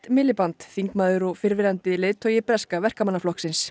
Miliband þingmaður og fyrrverandi leiðtogi breska Verkamannaflokksins